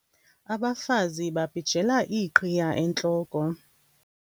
Abafazi babhijela iiqhiya entloko